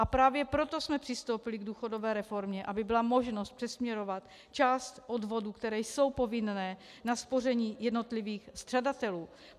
A právě proto jsme přistoupili k důchodové reformě, aby byla možnost přesměrovat část odvodů, které jsou povinné, na spoření jednotlivých střadatelů.